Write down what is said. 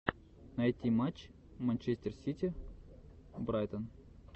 найти матч манчестер сити брайтон